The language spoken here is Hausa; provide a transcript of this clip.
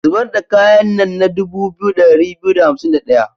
Zibar da kayan nan na dubu 2251.